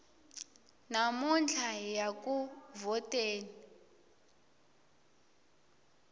namuntlha hiya ku vhoteni